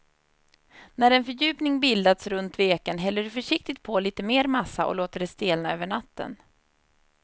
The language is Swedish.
När en fördjupning bildats runt veken häller du försiktigt på lite mer massa och låter det stelna över natten.